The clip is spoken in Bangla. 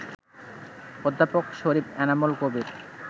অধ্যাপক শরীফ এনামুল কবির